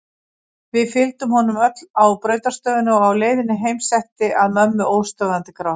Við fylgdum honum öll á brautarstöðina og á leiðinni heim setti að mömmu óstöðvandi grát.